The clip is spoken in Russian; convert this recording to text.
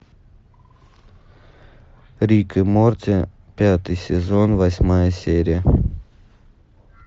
рик и морти пятый сезон восьмая серия